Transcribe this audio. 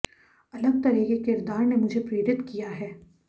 अलग तरह के किरदार ने मुझे प्रेरित किया है